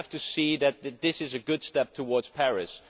We have to see that this is a good step towards Paris.